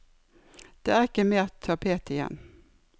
Det er ikke mer tapet igjen.